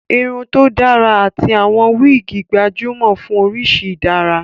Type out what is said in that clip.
Irun tó dára àti àwọn wíìgì gbajúmọ̀ fún oríṣi ìdárà